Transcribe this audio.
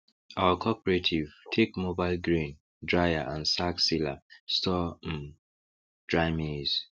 our cooperative take mobile grain dryer and sack sealer store um dry maize